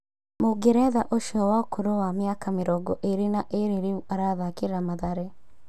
Mũngeretha ũcio wa ũkũrũ wa mĩaka mĩrongo ĩrĩ na ĩrĩ rĩu arathakĩra Mathare